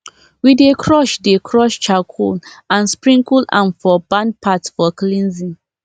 we dey crush dey crush charcoal and sprinkle am for barn path for cleansing